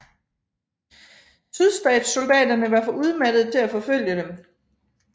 Sydstatssoldaterne var for udmattede til at forfølge dem